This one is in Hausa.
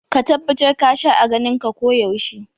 Ka tabbatar ka sha aganin ka ko yaushe.